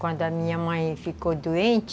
Quando a minha mãe ficou doente,